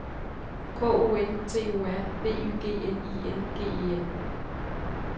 K O N T O R B Y G N I N G E N